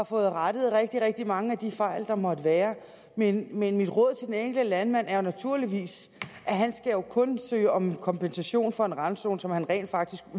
fået rettet rigtig rigtig mange af de fejl der måtte være men mit råd til den enkelte landmand er naturligvis at han jo kun skal søge om kompensation for en randzone som han rent faktisk